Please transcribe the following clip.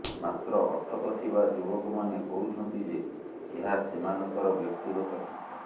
ମାତ୍ର ଅଟକ ଥିବା ଯୁବକମାନେ କହୁଛନ୍ତି ଯେ ଏହା ସେମାନଙ୍କର ବ୍ୟକ୍ତିଗତ ଟଙ୍କା